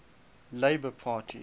labour parties